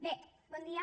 bé bon dia